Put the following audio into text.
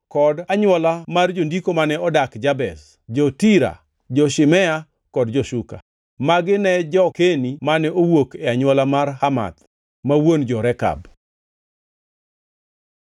kod anywola mar jondiko mane odak Jabez: jo-Tira, jo-Shimea kod jo-Suka. Magi ne jo-Keni mane owuok e anywola mar Hamath, ma wuon jo-Rekab.